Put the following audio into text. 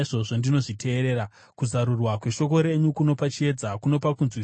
Kuzarurwa kweshoko renyu kunopa chiedza; kunopa kunzwisisa kuna vasina mano.